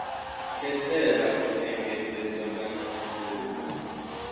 katela u engedzedzwa kana tshanduko